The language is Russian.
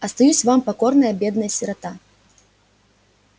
остаюсь вам покорная бедная сирота